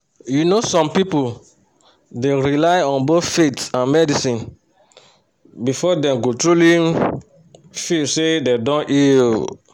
you know um some people dey rely on both faith and medicine before dem go truly um feel say dem don heal. um